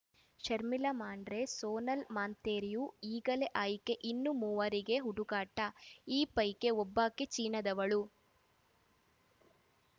ಶರ್ಮಿಳಾ ಮಾಂಡ್ರೆ ಸೋನಾಲ್‌ ಮಾಂತೇರಿಯೋ ಈಗಲೇ ಆಯ್ಕೆ ಇನ್ನು ಮೂವರಿಗೆ ಹುಡುಕಾಟ ಈ ಪೈಕಿ ಒಬ್ಬಾಕೆ ಚೀನಾದವಳು